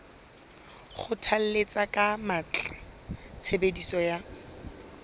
kgothalletsa ka matla tshebediso ya